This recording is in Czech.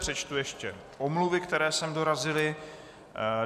Přečtu ještě omluvy, které sem dorazily.